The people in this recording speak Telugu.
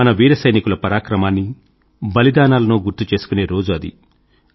మన వీర సైనికుల పరక్రమాన్నీ బలిదానాలను గుర్తు చేసుకునే రోజు అది